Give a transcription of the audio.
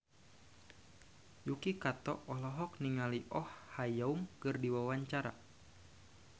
Yuki Kato olohok ningali Oh Ha Young keur diwawancara